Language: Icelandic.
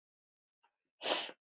Áfram Huginn.